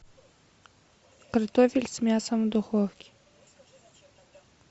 картофель с мясом в духовке